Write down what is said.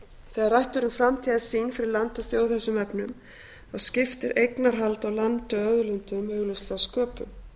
þegar rætt er um framtíðarsýn fyrir land og þjóð í þessum efnum skiptir eignarhald á landi og auðlindum augljóslega sköpum